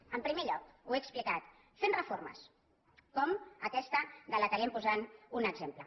en primer lloc ho he explicat fent reformes com aquesta de la qual li hem posat un exemple